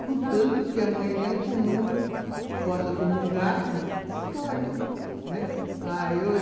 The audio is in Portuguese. Contanto que amanhã comungue, possa comungar, pode.